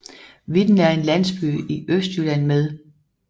Vitten er en landsby i Østjylland med